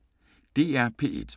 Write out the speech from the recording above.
DR P1